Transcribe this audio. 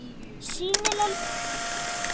SÝNILEG BORG EN ÓSÉÐ